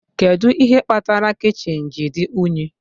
Kedu ihe kpatara kichin ji dị unyi?